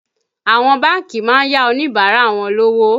Àwọn bánkì má ń yá Oníbàárà wọn lówó